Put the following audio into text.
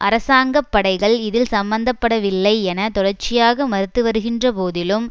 அரசாங்க படைகள் இதில் சம்பந்தப்படவில்லை என தொடர்ச்சியாக மறுத்து வருகின்ற போதிலும்